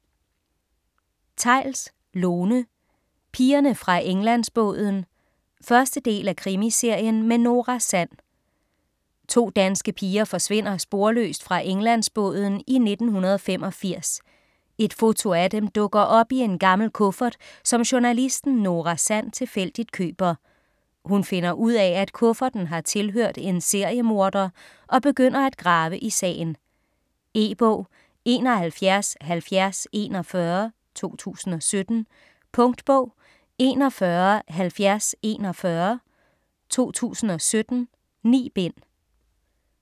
Theils, Lone: Pigerne fra Englandsbåden 1. del af Krimiserien med Nora Sand. To danske piger forsvinder sporløst fra Englandsbåden i 1985. Et foto af dem dukker op i en gammel kuffert, som journalisten Nora Sand tilfældigt køber. Hun finder ud af, at kufferten har tilhørt en seriemorder, og begynder at grave i sagen. E-bog 717041 2017. Punktbog 417041 2017. 9 bind.